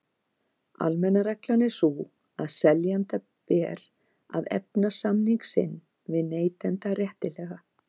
Almenna reglan er sú að seljanda ber að efna samning sinn við neytanda réttilega.